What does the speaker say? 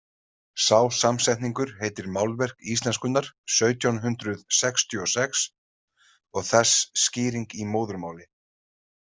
Sá samsetningur heitir Málverk íslenskunnar sautján hundrað sextíu og sex og þess skýring í móðurmáli.